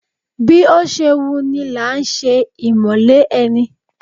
Bí ó ṣe wu ni làá ṣe ìmọ̀le ẹni!